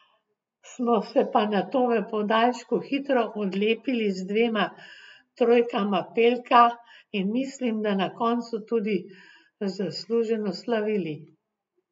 Smo se pa nato v podaljšku hitro odlepili z dvema trojkama Pelka in mislim, da na koncu tudi zasluženo slavili.